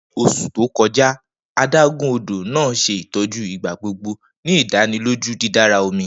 Ni oṣu to kọja, adagun odo naa ṣe itọju igbagbogbo, ni idaniloju didara omi.